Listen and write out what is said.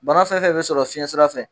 Bana fɛnfɛn bɛ sɔrɔ fiɲɛsira fɛ.